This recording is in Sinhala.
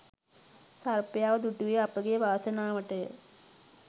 සර්පයාව දුටුවේ අපගේ වාසනාවටය